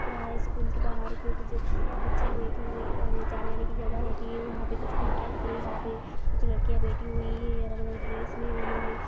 school के बाहर जो कुछ बच्चियाँ बैठी हु अ--जाने आने की जगह होती है| वहा पे कुछ खिड़कियां दिख रही है| वहाँ पे कुछ लड़कियाँ बैठी हुई है अलग-अलग ड्रेस मे उन्होंने--